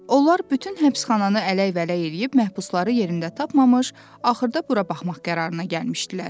Onlar bütün həbsxananı ələk-vələk eləyib məhbusları yerində tapmamış, axırda bura baxmaq qərarına gəlmişdilər.